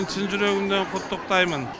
шын жүргімнен құттықтаймын